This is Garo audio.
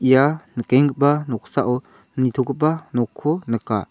ia nikenggipa noksao nitogipa nokko nika.